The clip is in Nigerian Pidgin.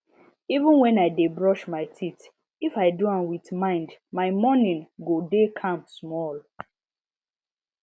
even when i dey brush my teeth if i do am with mind my morning go dey calm small